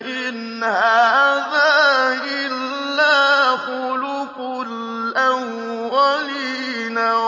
إِنْ هَٰذَا إِلَّا خُلُقُ الْأَوَّلِينَ